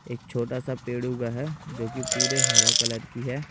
एक छोटा सा पेड़ उगा है जो कि पूरे हरा कलर की हैं।